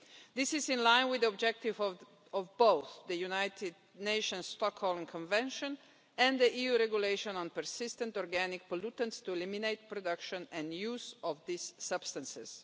This is in line with the objective of both the United Nations Stockholm Convention and the EU Regulation on Persistent Organic Pollutants to eliminate production and use of these substances.